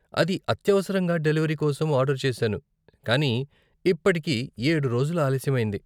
అది అత్యవసరంగా డెలివరీ కోసం ఆర్డరు చేసాను కానీ ఇప్పటికి ఏడు రోజులు ఆలస్యం అయింది.